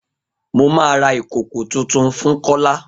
Mo ma ra ìkòkò tuntun fún Kola